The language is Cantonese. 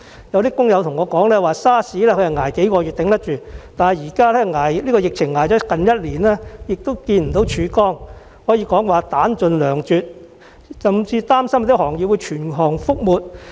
有工友告訴我 ，SARS 期間只是支撐數個月，還應付得來，但現在疫情已經接近1年，他們仍然看不到曙光，可謂彈盡糧絕，甚至擔心某些行業會全行覆沒。